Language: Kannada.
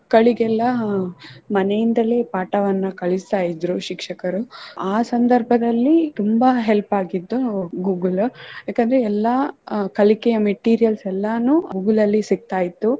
ಮಕ್ಕಳಿಗೆಲ್ಲಾ ಮನೆಯಿಂದಲೆ ಪಾಠವನ್ನು ಕಲಿಸ್ತಾ ಇದ್ರು ಶಿಕ್ಷಕರು ಆ ಸಂದರ್ಭದಲ್ಲಿ ತುಂಬಾ help ಆಗಿದ್ದು Google ಯಾಕಂದ್ರೆ ಎಲ್ಲ ಕಲಿಕೆಯ materials ಎಲ್ಲಾನು Google ಅಲ್ಲಿ ಸಿಗ್ತಾ ಇತ್ತು.